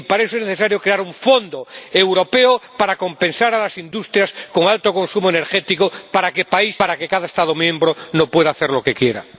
Y para eso es necesario crear un fondo europeo para compensar a las industrias con alto consumo energético, para que cada Estado miembro no pueda hacer lo que quiera.